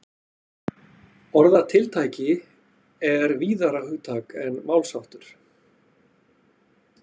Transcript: orðatiltæki er víðara hugtak en málsháttur